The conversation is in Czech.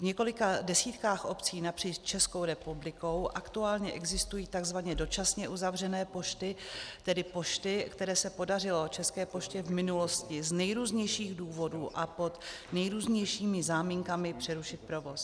V několika desítkách obcí napříč Českou republikou aktuálně existují tzv. dočasně uzavřené pošty, tedy pošty, kde se podařilo České poště v minulosti z nejrůznějších důvodů a pod nejrůznějšími záminkami přerušit provoz.